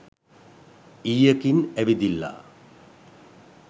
ඊයකින් ඇවිදිල්ලා